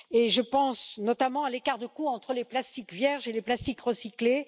Je pense notamment à l'écart de coût entre les plastiques vierges et les plastiques recyclés.